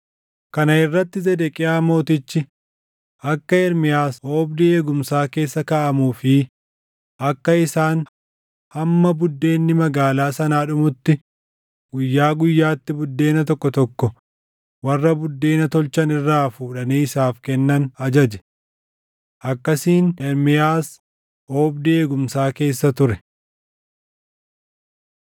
Kana irratti Zedeqiyaa Mootichi akka Ermiyaas oobdii eegumsaa keessa kaaʼamuu fi akka isaan hamma buddeenni magaalaa sanaa dhumutti guyyaa guyyaatti buddeena tokko tokko warra buddeena tolchan irraa fuudhanii isaaf kennan ajaje. Akkasiin Ermiyaas oobdii eegumsaa keessa ture.